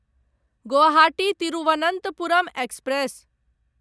Guwahati Thiruvananthapuram express